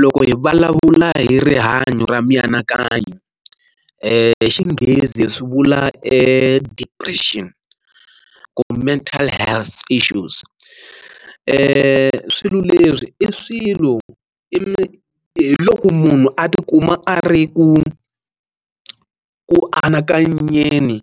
loko hi vulavula hi rihanyo ra mianakanyo i xinghezi swi vula depression ku mental health issues swilo leswi i swilo i hi loko munhu a tikuma a ri ku ku anakanyeni